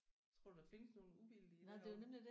Tror du der findes nogle uvildige derovre?